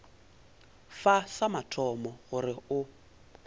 fa sa mathomo gore o